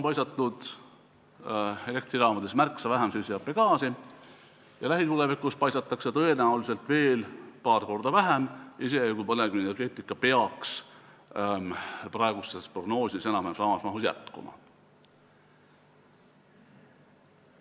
Elektrijaamadest on õhku paisatud märksa vähem süsihappegaasi ja lähitulevikus paisatakse tõenäoliselt veel paar korda vähem, isegi kui põlevkivienergeetika peaks enam-vähem samas mahus jätkuma.